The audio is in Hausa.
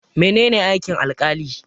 Mene ne aikin Alkali?